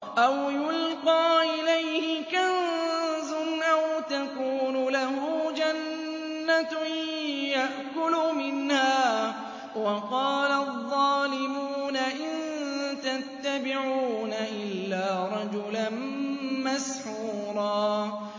أَوْ يُلْقَىٰ إِلَيْهِ كَنزٌ أَوْ تَكُونُ لَهُ جَنَّةٌ يَأْكُلُ مِنْهَا ۚ وَقَالَ الظَّالِمُونَ إِن تَتَّبِعُونَ إِلَّا رَجُلًا مَّسْحُورًا